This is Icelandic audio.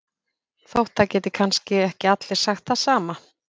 Þótt það geti kannski ekki allir sagt það sama